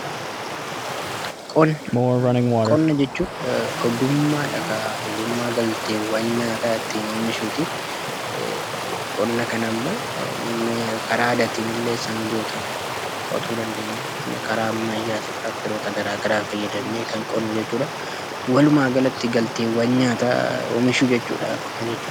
Qonna jechuun ogummaadha, ogummaa galteewwan nyaata ittiin oomishuuti. Qonna kanammoo karaa aadaatiin illee sangootaan qotuu dandeenya. Karaa ammayyaas tiraakteroota garaa garaa fayyadamnee kan qonnu jechuudha. Walumaagalatti galteewwan nyaataa oomishuu jechuudha qonna jechuun.